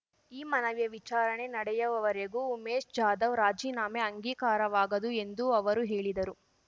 ಈ ಮನವಿಯ ವಿಚಾರಣೆ ನಡೆಯುವವರೆಗೂ ಉಮೇಶ್ ಜಾಧವ್ ರಾಜೀನಾಮೆ ಅಂಗೀಕಾರವಾಗದು ಎಂದು ಅವರು ಹೇಳಿದರು